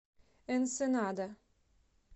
энсенада